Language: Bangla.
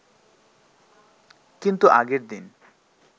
কিন্তু আগের দিন